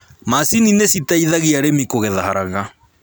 Macini nĩ citeithagia arĩmi kũgetha haraka